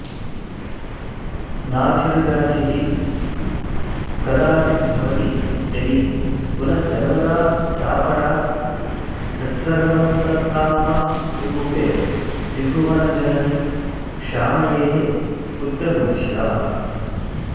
नाधिर्व्याधिः कदाचिद्भवति यदि पुनस्सर्वदा सापराधस्सर्वन्तत्कामरूपे त्रिभुवनजननि क्षामयेः पुत्रबुद्ध्या